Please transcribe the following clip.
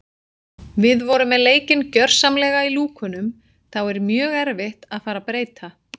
Við vorum með leikinn gjörsamlega í lúkunum þá er mjög erfitt að fara að breyta.